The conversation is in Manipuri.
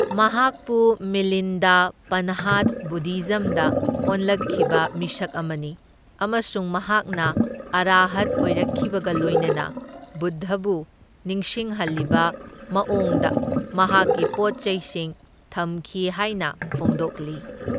ꯃꯍꯥꯛꯄꯨ ꯃꯤꯂꯤꯟꯗꯥ ꯄꯟꯍꯥꯗ ꯕꯨꯗꯙꯤꯖꯝꯗ ꯑꯣꯟꯂꯛꯈꯤꯕ ꯃꯤꯁꯛ ꯑꯃꯅꯤ, ꯑꯃꯁꯨꯡ ꯃꯍꯥꯛꯅ ꯑꯔꯍꯠ ꯑꯣꯏꯔꯛꯈꯤꯕꯒ ꯂꯣꯏꯅꯅ ꯕꯨꯗꯙꯕꯨ ꯅꯤꯡꯁꯤꯡꯍꯜꯂꯤꯕ ꯃꯑꯣꯡꯗ ꯃꯍꯥꯛꯀꯤ ꯄꯣꯠꯆꯩꯁꯤꯡ ꯊꯝꯈꯤ ꯍꯥꯏꯅ ꯐꯣꯡꯗꯣꯛꯂꯤ꯫